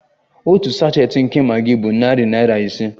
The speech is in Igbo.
Otu sachet nke Maggi bụ narị naira ise